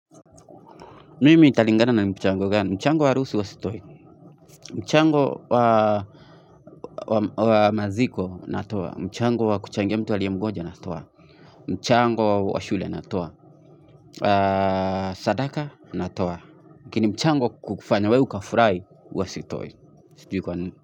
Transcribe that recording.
Mimi italingana ni mchango gani, mchango wa harusu huea sitoi, mchango wa maziko natoa, mchango wa kuchangea mtu aliye mgoja na toa, mchango wa shule natoa, sadaka natoa, kini mchango kukufanya we ukafurahi huwa sitoi.